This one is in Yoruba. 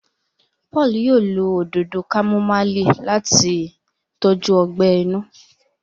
Paul yóò ló Òdòdó kámúmáìlì láti tọjú ogbè inú